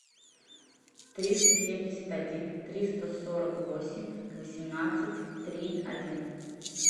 триста семьдесят один триста сорок восемь восемнадцать три один